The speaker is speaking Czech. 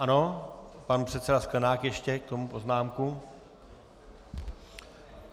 Ano, pan předseda Sklenák ještě k tomu poznámku.